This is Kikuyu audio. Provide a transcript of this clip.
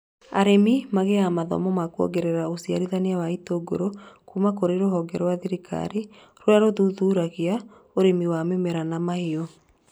Arĩmi magĩaga mathomo ma kuongerera ũciarithania wa itũngũrũ kũma kũrĩ rũhonge rwa thirikari rũrĩa rũthuthuragia ũrĩmi wa mĩmera na mahiũ